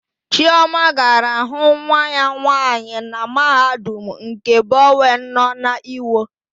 Chioma gara hụ nwa ya nwaanyị na Mahadum nke Bọwen nọ n'Iwo.